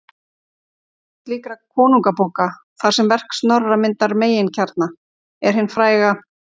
Mest slíkra konungabóka, þar sem verk Snorra myndar meginkjarna, er hin fræga